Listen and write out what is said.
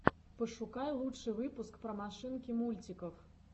пошукай лучший выпуск про машинки мультиков